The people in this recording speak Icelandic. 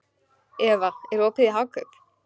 Eva, er opið í Hagkaup?